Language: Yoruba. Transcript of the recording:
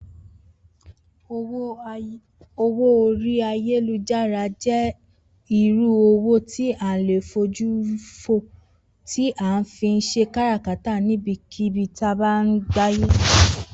Owó orí ayélujára jé̩ irú owó tí a ò lè fojúrí tí a fi ń s̩e kárakátà níbikíbi ní àgbáyé